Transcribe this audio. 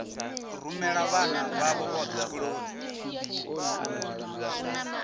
rumela vhana vhavho vhothe tshikoloni